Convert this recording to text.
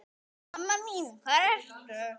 Mamma mín hvar ertu?